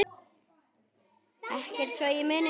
Ekkert svo ég muni.